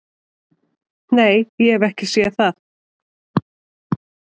"""Nei, ég hef ekki séð það."""